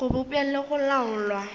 go bopša le go laolwa